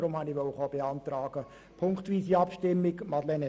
Deshalb habe ich eine ziffernweise Abstimmung beantragen wollen.